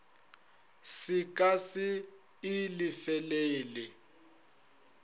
se ka se e lefelele